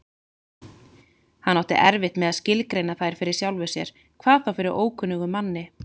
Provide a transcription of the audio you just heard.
Hann átti erfitt með að skilgreina þær fyrir sjálfum sér, hvað þá fyrir ókunnugum manni.